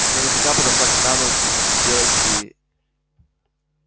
я нехотя подошла к экрану вгляделась и